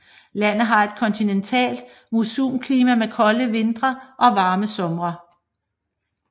Landet har et kontinentalt monsunklima med kolde vintre og varme somre